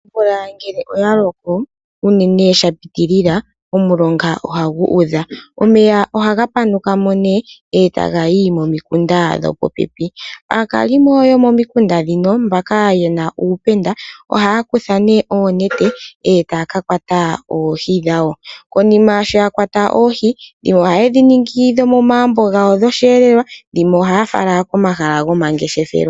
Omvula ngele oyaloko unene shapitilila omulonga ohaga udha. Omeya ohaga panukamo nee eetagayi pomikunda dhopopepi aakalimo aakalimo yomomikunda dhino mbaka yena uupenda ohaakutha nee onete etaa kakwata oohi dhawo. Konika shoyakwata oohi ohandhi ningi dhomoma gumbo gawo gosheelelwa dhimwe ohaa fala komahala momangeshefelo.